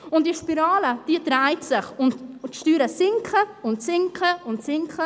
Und diese Spirale dreht sich, und die Steuern sinken und sinken und sinken.